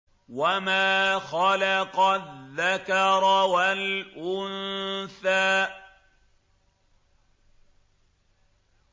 وَمَا خَلَقَ الذَّكَرَ وَالْأُنثَىٰ